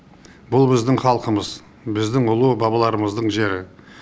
бұл біздің халқымыз біздің ұлы бабаларымыздың жері